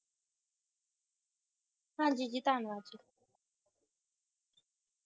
ਹਾਂਜੀ ਜੀ, ਧੰਨਵਾਦ ਜੀ